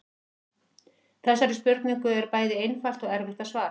Þessari spurningu er bæði einfalt og erfitt að svara.